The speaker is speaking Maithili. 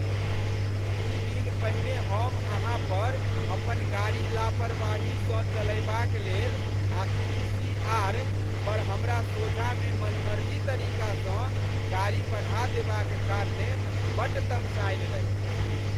दू दिन पहिने हम अहाँ पर अपन गाड़ी लापरवाहीसँ चलयबाक लेल आ ई. सी. आर. पर हमरा सोझाँमे मनमर्जी तरीकासँ गाड़ी बढ़ा देबाक कारणेँ बड्ड तमसायल रही।